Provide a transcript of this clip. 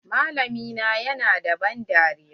Malamin nan ya na da ban dariya.